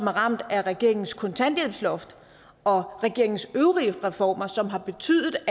er ramt af regeringens kontanthjælpsloft og dens øvrige reformer som har betydet